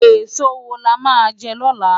Esó wó lá má jè lòlá?